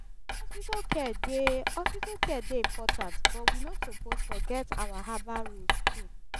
hospital care dey hospital care dey important but we no suppose forget our herbal roots too.